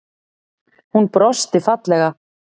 Hún brosti fallega.